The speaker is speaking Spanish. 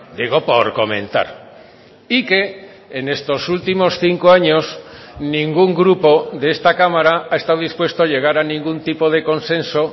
digo por comentar y que en estos últimos cinco años ningún grupo de esta cámara ha estado dispuesto a llegar a ningún tipo de consenso